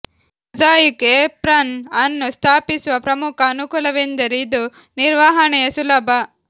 mosaic apron ಅನ್ನು ಸ್ಥಾಪಿಸುವ ಪ್ರಮುಖ ಅನುಕೂಲವೆಂದರೆ ಇದು ನಿರ್ವಹಣೆಯ ಸುಲಭ